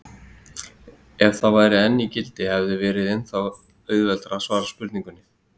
Ef það væri enn í gildi hefði verið ennþá auðveldara að svara spurningunni.